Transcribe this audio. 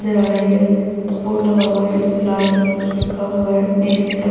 नजर आ रही है बोर्ड लगा हुआ है जिसपे लाल रंग से कुछ लिखा हुआ है निचे सड़क --